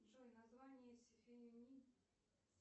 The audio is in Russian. джой название